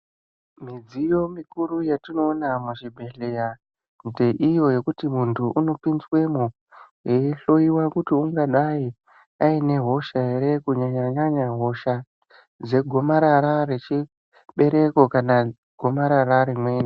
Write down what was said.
Midziyo mikuru yatinona muzvibhedhlera ponzbekuti ndeiyo yekuti muntu unopinzwemwo eihloiwa kuti ungadai aine hosha here?, kunyanya-nyanya hosha dzegomarara rechibereko kana gomarara rimweni.